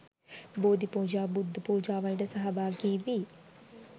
බෝධිපූජා බුද්ධ පූජාවලට සහභාගි වී